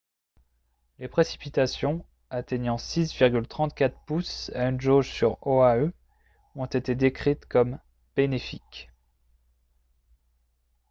les précipitations atteignant 6,34 pouces à une jauge sur oahu ont été décrites comme « bénéfiques »